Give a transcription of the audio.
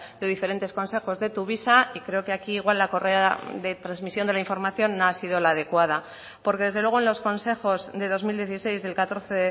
de diferentes consejos de tuvisa y creo que aquí igual la correa de transmisión de la información no ha sido la adecuada porque desde luego en los consejos de dos mil dieciséis del catorce